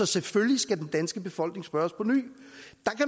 selvfølgelig skal den danske befolkning så spørges påny